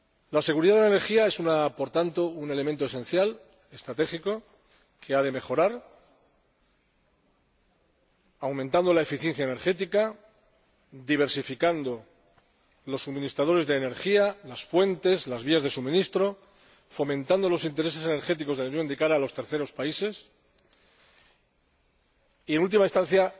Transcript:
La seguridad de suministro es, por tanto, un elemento esencial, estratégico, que ha de mejorarse aumentando la eficiencia energética, diversificando los suministradores de energía, las fuentes y las vías de suministro, fomentando los intereses energéticos de la Unión de cara a los terceros países y, en última instancia,